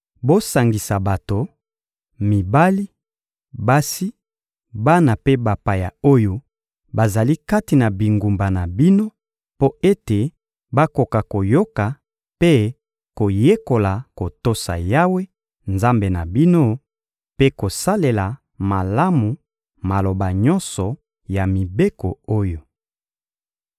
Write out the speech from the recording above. Bosangisa bato: mibali, basi, bana mpe bapaya oyo bazali kati na bingumba na bino mpo ete bakoka koyoka mpe koyekola kotosa Yawe, Nzambe na bino, mpe kosalela malamu maloba nyonso ya mibeko oyo.